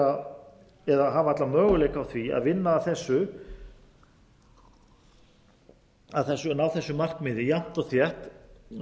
að hafa alla möguleika á því að ná þessu markmiði jafnt og þétt